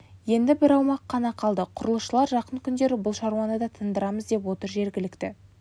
енді бір аумақ қана қалды құрылысшылар жақын күндері бұл шаруаны да тындырамыз деп отыр жергілікті